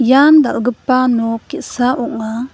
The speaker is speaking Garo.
ian dal·gipa nok ge·sa ong·a.